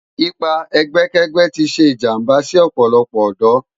Ipá ègbèkègbè ti sé ijàmbá si òpòlòpò òdò